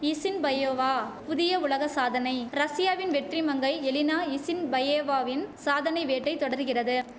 Isinbayeva புதிய உலக சாதனை ரஷ்யாவின் வெற்றி மங்கை எலினா இசின்பையேவாவின் சாதனை வேட்டை தொடருகிறது